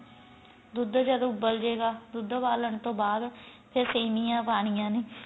ਦੁੱਧ ਜਦੋ ਉਬਲ ਜੇ ਗਾ ਦੁੱਧ ਉਬਾਲਣ ਤੋਂ ਬਾਅਦ ਫੇਰ ਸੇਮੀਆਂ ਪਾਣੀਆਂ ਨੇ